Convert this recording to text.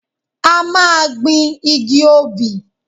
A máa gbin igi obì.